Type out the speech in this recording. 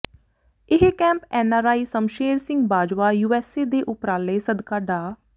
ਇਹ camp NRI Shamsher Singh Bajwa USA ਦੇ ਉਪਰਾਲੇ ਸਦਕਾ ਡਾ